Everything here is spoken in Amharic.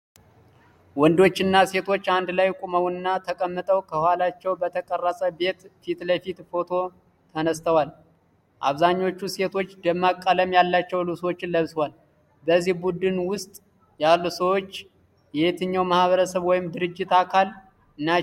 ወንዶችና ሴቶች አንድ ላይ ቆመውና ተቀምጠው ከኋላቸው በተቀረፀ ቤት ፊት ለፊት ፎቶ ተነስተዋል። አብዛኞቹ ሴቶች ደማቅ ቀለም ያላቸው ልብሶችን ለብሰዋል። በዚህ ቡድን ውስጥ ያሉ ሰዎች የየትኛው ማህበረሰብ ወይም ድርጅት አካል ናቸው?